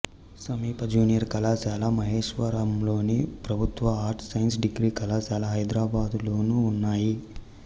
సమీప జూనియర్ కళాశాల మహేశ్వరంలోను ప్రభుత్వ ఆర్ట్స్ సైన్స్ డిగ్రీ కళాశాల హైదరాబాదులోనూ ఉన్నాయి